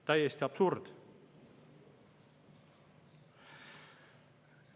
Täiesti absurd!